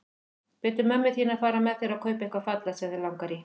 Biddu mömmu þína að fara með þér og kaupa eitthvað fallegt sem þig langar í.